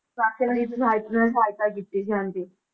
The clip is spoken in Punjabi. ਸਾਥੀਆਂ ਦੀ ਸਹਾਇਤਾ ਨਾਲ, ਸਹਾਇਤਾ ਕੀਤੀ ਸੀ ਹਾਂਜੀ।